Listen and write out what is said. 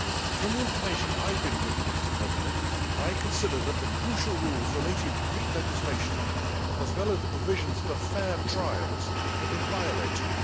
From the information I have been given, Mr President, I consider that the crucial rules relating to Greek legislation, as well as the provisions for fair trials, have been violated.